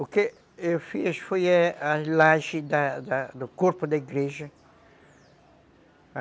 O que eu fiz foi a laje da da do corpo da igreja.